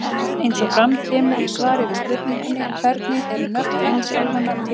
Eins og fram kemur í svari við spurningunni Hvernig eru nöfn heimsálfanna til komin?